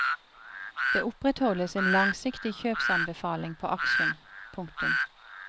Det opprettholdes en langsiktig kjøpsanbefaling på aksjen. punktum